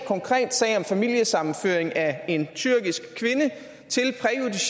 konkret sag om familiesammenføring af en tyrkisk kvinde